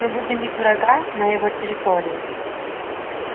мы будем бить врага на его территории